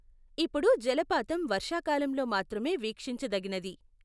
ఇప్పుడు జలపాతం వర్షాకాలంలో మాత్రమే వీక్షించదగినది.